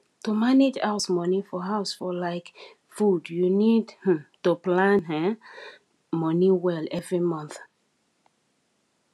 to manage house money for house for like food you need um to plan um money well every month